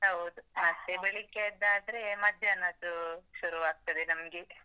ಹೌದು. ಮತ್ತೆ ಬೆಳಿಗ್ಗೆಯಾದ್ದಾದ್ರೆ, ಮಧ್ಯಾಹ್ನದ್ದು ಶುರು ಆಗ್ತದೆ ನಮ್ಗೆ.